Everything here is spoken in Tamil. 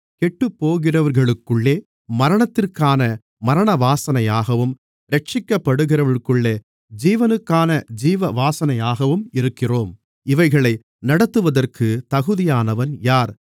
கெட்டுப்போகிறவர்களுக்குள்ளே மரணத்திற்கான மரணவாசனையாகவும் இரட்சிக்கப்படுகிறவர்களுக்குள்ளே ஜீவனுக்கான ஜீவவாசனையாகவும் இருக்கிறோம் இவைகளை நடத்துவதற்கு தகுதியானவன் யார்